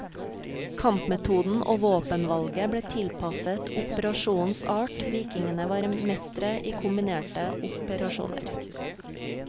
Kampmetoden og våpenvalget ble tilpasset operasjonens art, vikingene var mestre i kombinerte operasjoner.